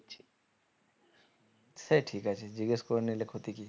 সে ঠিক আছে জিজ্ঞেস করে নিলে ক্ষতি কি